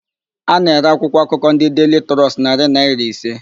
A na-ere akwụkwọakụkọ ndị Deili Trọst narị naịra ise.